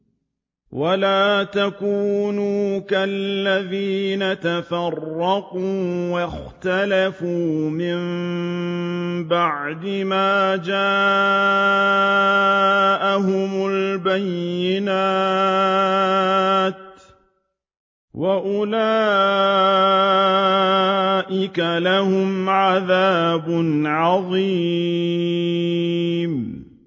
وَلَا تَكُونُوا كَالَّذِينَ تَفَرَّقُوا وَاخْتَلَفُوا مِن بَعْدِ مَا جَاءَهُمُ الْبَيِّنَاتُ ۚ وَأُولَٰئِكَ لَهُمْ عَذَابٌ عَظِيمٌ